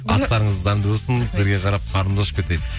астарыңыз дәмді болсын сізге қарап қарнымыз ашып кетті дейді